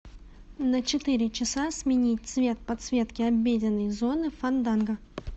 на четыре часа сменить цвет подсветки обеденной зоны фанданго